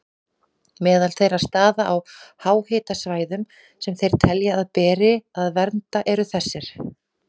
Meðal þeirra staða á háhitasvæðum sem þeir telja að beri að vernda eru þessir